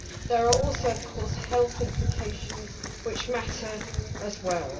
There are also, of course, health implications which matter as well.